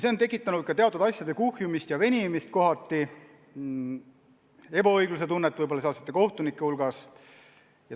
See on tekitanud teatud asjade kuhjumist ja kohatist venimist ning sealsed kohtunikud tunnetavad ehk ebaõiglust.